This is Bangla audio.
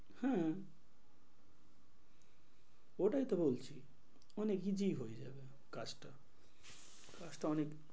হ্যাঁ ওটাই তো বলছি অনেক easy হয়ে যাবে কাজটা। কাজটা অনেক,